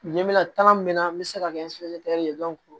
Ɲɛminata minna n bɛ se ka kɛ ye